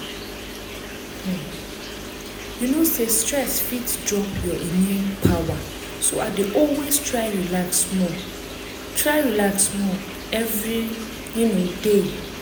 um you know say stress fit drop your immune power so i dey always try relax small try relax small every um day